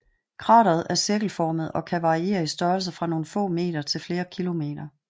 Krateret er cirkelformet og kan variere i størrelse fra nogle få meter til flere kilometer